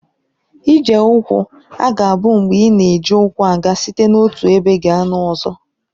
Ije ụkwụ aga bụ mgbe ị na-eji ụkwụ aga site n'otu ebe gaa n'ọzọ.